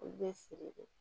Olu bɛ siri de